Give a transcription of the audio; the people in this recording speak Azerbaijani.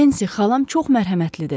Nensi, xalam çox mərhəmətlidir.